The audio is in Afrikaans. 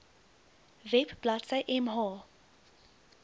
web bladsy mh